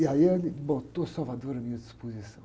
E aí ele botou Salvador à minha disposição.